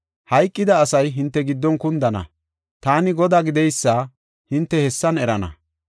Hayqida asay hinte giddon kundana. Taani Godaa gideysa hinte hessan erana.